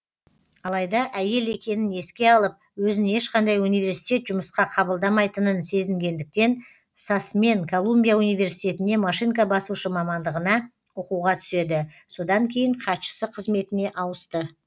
алайда әйел екенін еске алып өзін ешқандай университет жұмысқа қабылдамайтынын сезінгендіктен сасмен колумбия университетіне машинка басушы мамандығына оқуға түседі содан кейін хатшысы қызметіне ауысты